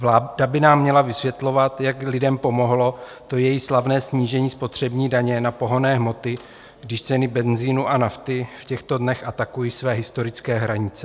Vláda by nám měla vysvětlovat, jak lidem pomohlo to její slavné snížení spotřební daně na pohonné hmoty, když ceny benzinu a nafty v těchto dnech atakují své historické hranice.